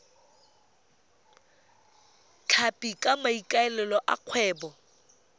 tlhapi ka maikaelelo a kgwebo